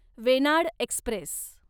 Venad Express